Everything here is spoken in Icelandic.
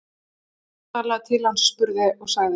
Vestmann talaði til hans, spurði og sagði